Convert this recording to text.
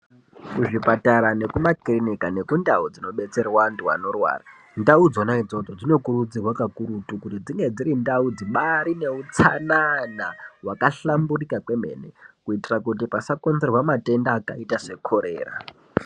Kuzvipatara nekumakirinika nekundau dzinobetserwa antu anorwara dzinokurudzirwa pakurutu kuti ndau idzodzo dzibari ndau dzine utsanana hwakahlamburuka kwemene kuitira kuti pasakonzerea matenda akaita sekorera.